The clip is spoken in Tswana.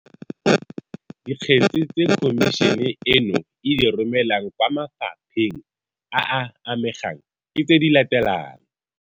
Dikgetse tse Khomišene eno e di romelang kwa mafa pheng a a amegang ke tse di latelang.